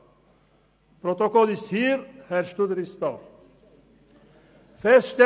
Das Protokoll liegt vor, Herr Studer ist auch anwesend.